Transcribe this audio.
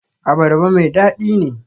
Abarba mai dadi ne?